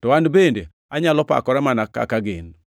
to an bende anyalo pakora mana kaka gin.